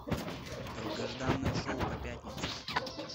долгожданное шоу по пятнице